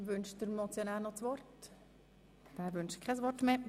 Wünscht der Motionär nochmals das Wort?